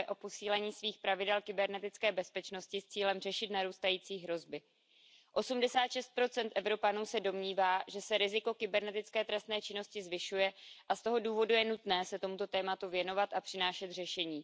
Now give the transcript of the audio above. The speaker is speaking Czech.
se tomuto tématu věnovat a přinášet řešení.